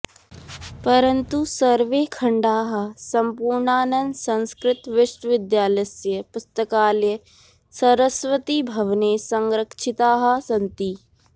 परन्तु सर्वे खण्डाः सम्पूर्णानन्दसंस्कृत विश्वविद्यालयस्य पुस्तकालये सरस्वतीभवने संरक्षिताः सन्ति